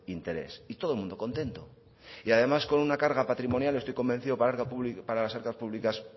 interés y todo el mundo contento y además con una carga patrimonial estoy convencido para el arca pública para las arcas públicas